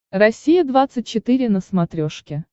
россия двадцать четыре на смотрешке